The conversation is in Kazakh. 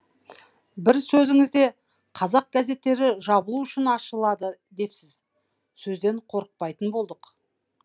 бір сөзіңізде қазақ газеттері жабылу үшін ашылады депсіз сөзден қорықпайтын болдық